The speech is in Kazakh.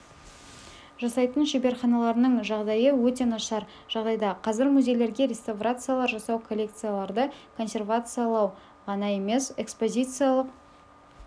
жасайтын шеберханаларының жағдайы өте нашар жағдайда қазір музейлерге реставрациялар жасау коллекцияларды консервациялау ғана емес экспозициялық